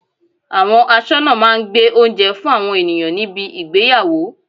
Àwọn asọ́nà máa ń gbé oúnjẹ fún àwọn ènìyàn níbi ìgbéyàwó.